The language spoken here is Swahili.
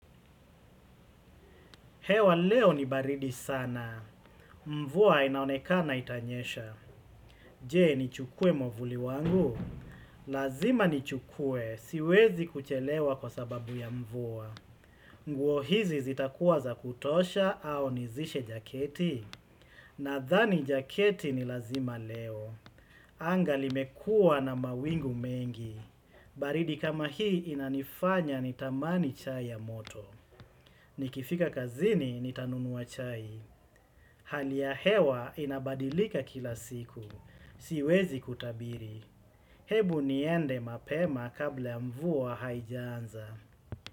Hewa leo ni baridi sana. Mvuwa inaonekana itanyesha. Je, nichukue mwavuli wangu? Lazima ni chukue. Siwezi kuchelewa kwa sababu ya mvuwa. Nguo hizi zitakuwa za kutosha au nivishe jaketi? Nadhani jaketi ni lazima leo. Anga limekua na mawingu mengi. Baridi kama hii inanifanya nitamani chai ya moto. Nikifika kazini nitanunuwa chai. Hali ya hewa inabadilika kila siku. Siwezi kutabiri. Hebu niende mapema kabla ya mvua haijanza.